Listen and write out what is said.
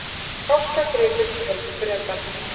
Háskagripur, töldu Bretar.